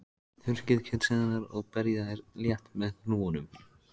Þurrkið kjötsneiðarnar og berjið þær létt með hnúunum.